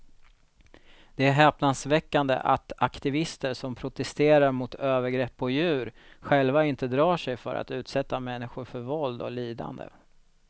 Det är häpnadsväckande att aktivister som protesterar mot övergrepp på djur själva inte drar sig för att utsätta människor för våld och lidande.